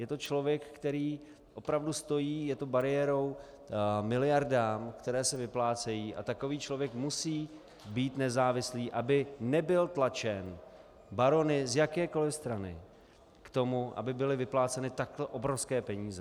Je to člověk, který opravdu stojí, je to bariérou miliardám, které se vyplácejí, a takový člověk musí být nezávislý, aby nebyl tlačen barony z jakékoliv strany k tomu, aby byly vypláceny takto obrovské peníze.